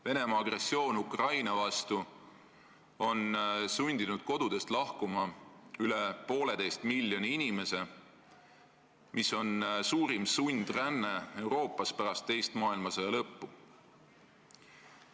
Venemaa agressioon Ukraina vastu on sundinud kodudest lahkuma üle poolteise miljoni inimese, mis on suurim sundränne Euroopas pärast teise maailmasõja lõppu.